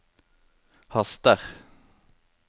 haster